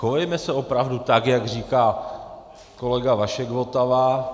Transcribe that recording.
Chovejme se opravdu tak, jak říká kolega Vašek Votava.